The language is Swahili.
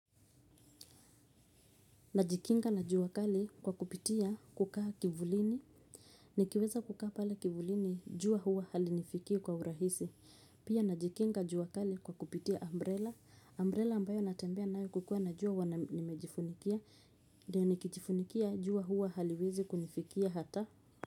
Najikinga na jua kali kwa kupitia kukaa kivulini. Nikiweza kukaa pale kivulini jua huwa halinifikii kwa urahisi. Pia najikinga jua kali kwa kupitia umbrella Umbrella ambayo natembea nayo kukiwa na jua huwa nimejifunikia. Nikijifunikia jua huwa haliwezi kunifikia hata.